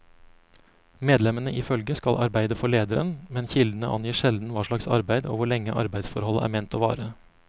Medlemmene i følget skal arbeide for lederen, men kildene angir sjelden hva slags arbeid og hvor lenge arbeidsforholdet er ment å vare.